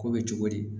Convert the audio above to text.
Ko bɛ cogo di